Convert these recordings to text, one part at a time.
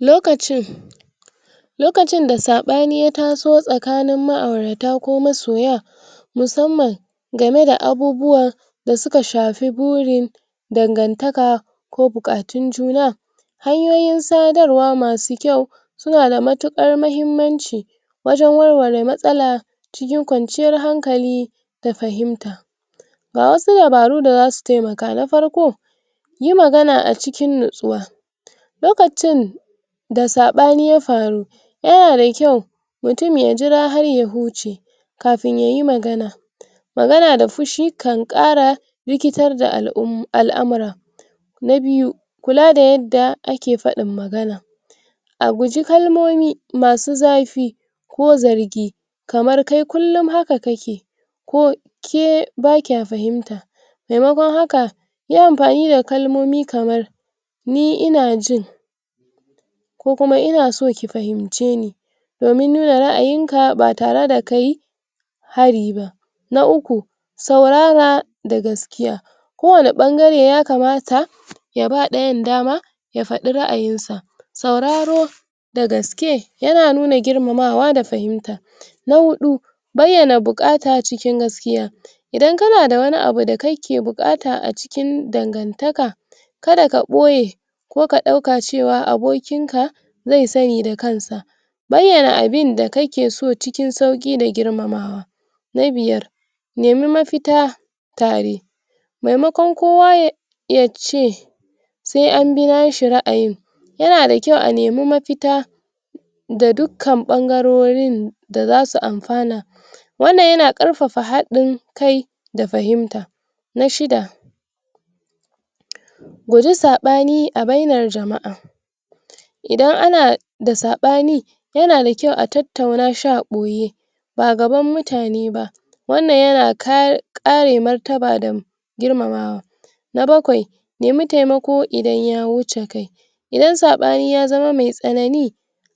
lokacin lokacin da saɓani yataso tsakanin ma'aurata ko masoya musamman gameda abubuwa da suka shafi buri dangantaka ko buƙatun juna hanyoyin sadarwa masu kyau sunada mutuƙar mahimmanci wajan warware matsala cikin kwanciyar hankali da fahimta ga wasu dabaru da zasu temaka, na farko yi magana acikin nitsuwa lokacin sa saɓani ya faru yana da kyau mutun ya jira har ya huce kafin yayi magana magana da fushi kan ƙara rikitar da al'um[um] al'amuran na biyu kula da yadda ake fadin magana aguji kalmomi masu zafi ko zargi kamar kai kullun haka kake ko ke ke bakiya fahimta me makon haka yi anfani da kalmomi kamar ni inajin ko kuma ina son ka hinceni domin nuna ra'ayinka batare da kai hari ba na uku saurara da gaskiya kowani bangare yakamata yaba ɗayan dama ya faɗi ra'ayin sa sauraro da gaske yana nuna girmamawa da fahimta na huɗu bayyana bukata cikin gaskiya idan kanada wani abuda kake da bukata acikin dangantaka kada ka boye ko ka ɗauka cewa aboki ko ka ɗauka cewa abokin ka ze sani da kansa bayana abinda kakeso cikin sauki da girmamawa na biyar nemi mafita me makon kowa ya yace se anbi nashi ra'ayi yanada kyau anemi mafita da duk kan bangarorin da zasu anfana wannan yana ɗarfafa hadin kai da fahimta na shida guji sabani a bainar jama'a idan ana da saban yanada kyau a tattauna shi aboye ba gaban mutane ba wanan yana kare kare martaba da girmamawa na bakwai nemi temako idan ya wuce kai idan sabani ya zama mai tsanani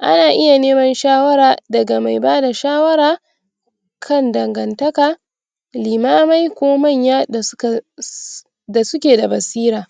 ana iya nema shawara daga me bada shawar kan dangantaka limamai ko manya dasuka da suke da basira